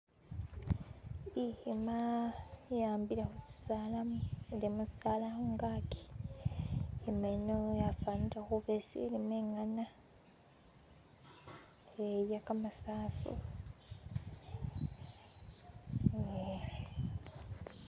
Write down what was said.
Ikhima yihambile khu kisaala kungaki nga yino yafanile khuba ishilimo inyana ngelya kamasafu